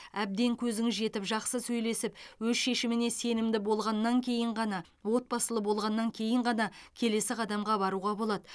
әбден көзіңіз жетіп жақсы сөйлесіп өз шешіміне сенімді болғаннан кейін ғана отбасылы болғаннан кейін ғана келесі қадамға баруға болады